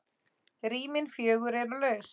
Rýmin fjögur eru laus.